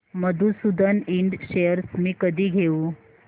मधुसूदन इंड शेअर्स मी कधी घेऊ